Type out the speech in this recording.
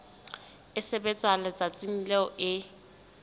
e sebetswa letsatsing leo e